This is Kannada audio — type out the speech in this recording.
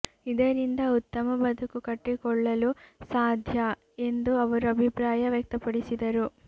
ಇದರಿಂದ ಉತ್ತಮ ಬದುಕು ಕಟ್ಟಿಕೊಳ್ಳಲು ಸಾಧ್ಯ ಎಂದು ಅವರು ಅಭಿಪ್ರಾಯ ವ್ಯಕ್ತಪಡಿಸಿದರು